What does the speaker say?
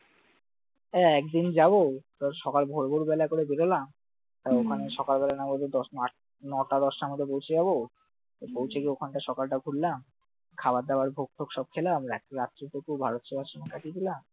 একদিন যাব, সকাল ভোর ভোর বেলা করে বেরুলাম ওখানে সকালবেলা না বাজে দশ না আট, নয়টা দশটার মধ্যে বসে যাব, পৌঁছে গিয়ে ওখানটায় সকালটা ঘুরলাম খাবার-দাবার ভোগালো সব খেলাম রাত্রি টুকু ভারত সেবা আশ্রমে কাটিয়ে দিলাম